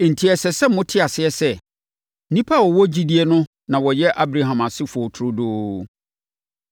Enti ɛsɛ sɛ mote aseɛ sɛ, nnipa a wɔwɔ gyidie no na wɔyɛ Abraham asefoɔ turodoo.